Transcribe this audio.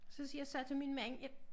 Så siger jeg så til min mand jeg